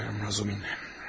Bilirəm, Razumihin.